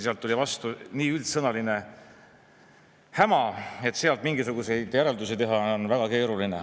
Sealt tuli vastu nii üldsõnaline häma, et sellest mingisuguseid järeldusi teha on väga keeruline.